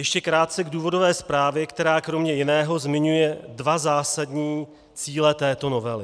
Ještě krátce k důvodové zprávě, která kromě jiného zmiňuje dva zásadní cíle této novely.